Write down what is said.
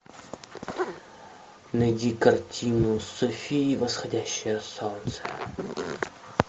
найди картину софи и восходящее солнце